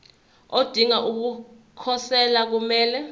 odinga ukukhosela kumele